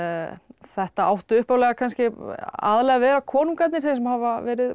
þetta átti upphaflega aðallega að vera konungarnir þeir sem hafa verið